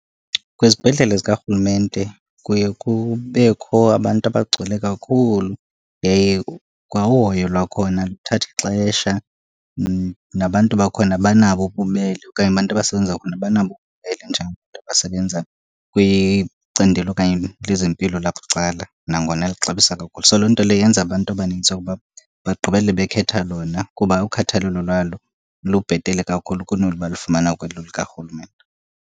Kwizibhedlele zikarhulumente kuye kubekho abantu abagcwele kakhulu, yaye kwa uhoyo lwakhona luthatha ixesha. Nabantu bakhona abanabo ububele okanye abantu abasebenza khona abanabo ububele njengabantu abasebenza kwicandelo okanye lezempilo labucala nangona lixabisa kakhulu. So, loo nto leyo yenza abantu abanintsi ukuba bagqibele bekhetha lona kuba ukhathalelo lwalo lubhetele kakhulu kunolu balufumana kwelo likarhulumente.